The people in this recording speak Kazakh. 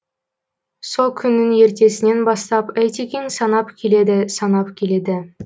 сол күннің ертесінен бастап айтекең санап келеді санап келеді